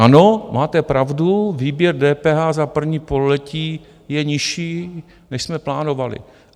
Ano, máte pravdu, výběr DPH za první pololetí je nižší, než jsme plánovali.